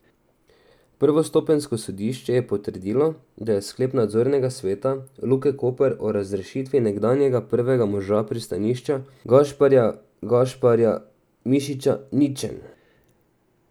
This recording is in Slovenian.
Prvostopenjsko sodišče je potrdilo, da je sklep nadzornega sveta Luke Koper o razrešitvi nekdanjega prvega moža pristanišča Gašparja Gašparja Mišiča ničen.